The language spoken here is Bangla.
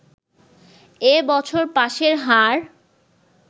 এ বছর পাসের হার